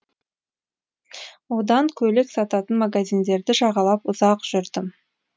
одан көйлек сататын магазиндерді жағалап ұзақ жүрдім